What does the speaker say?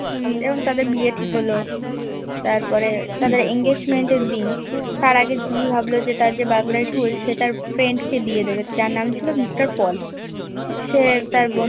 এবং তাদের বিয়ে ঠিক হলো তারপরে তাদের Engagement এর দিন তার আগে জিম্মি ভাবলো যে তার যে Burgler tool সে তার Friend কে দিয়ে দেবে তার নাম ছিল মিস্টার পল সে তার বন্ধু